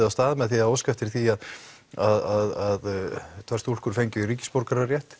af stað með því að óska eftir því að tvær stúlkur fengju ríkisborgararétt